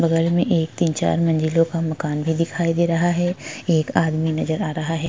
बगल में एक तीन चार मंजिलो का मकान भी दिखाई दे रहा है एक आदमी नज़र आ रहा है।